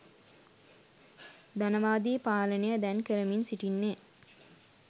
ධනවාදී පාලනය දැන් කරමින් සිටින්නේ